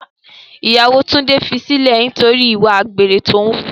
Ìyàwó Túndé fi sílẹ̀ nítorí ìwà àgbèrè tí o wù.